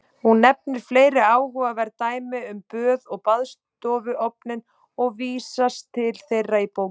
Hún nefnir fleiri áhugaverð dæmi um böð og baðstofuofninn og vísast til þeirra í bókinni.